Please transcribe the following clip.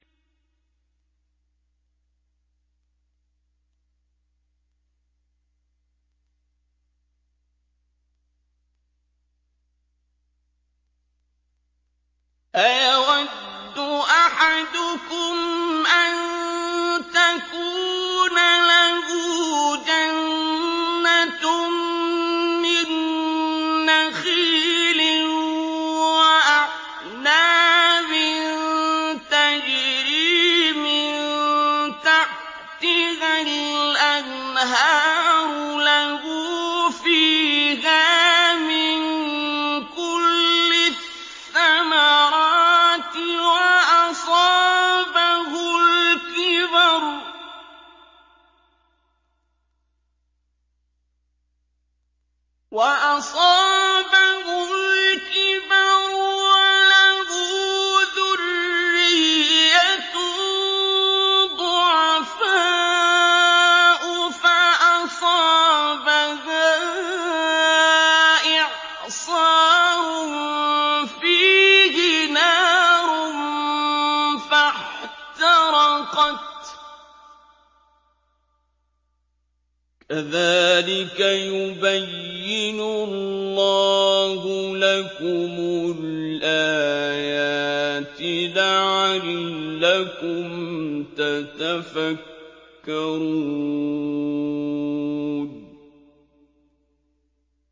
أَيَوَدُّ أَحَدُكُمْ أَن تَكُونَ لَهُ جَنَّةٌ مِّن نَّخِيلٍ وَأَعْنَابٍ تَجْرِي مِن تَحْتِهَا الْأَنْهَارُ لَهُ فِيهَا مِن كُلِّ الثَّمَرَاتِ وَأَصَابَهُ الْكِبَرُ وَلَهُ ذُرِّيَّةٌ ضُعَفَاءُ فَأَصَابَهَا إِعْصَارٌ فِيهِ نَارٌ فَاحْتَرَقَتْ ۗ كَذَٰلِكَ يُبَيِّنُ اللَّهُ لَكُمُ الْآيَاتِ لَعَلَّكُمْ تَتَفَكَّرُونَ